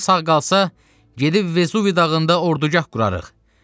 Neçəmiz sağ qalsa, gedib Vežuvi dağında ordugah qurarıq.